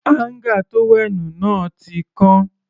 Áńgà tówẹ́ẹ̀nù wa ti kán.